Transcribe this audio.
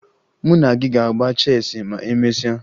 Mụ na gị ga-agba cheesị ma emesịa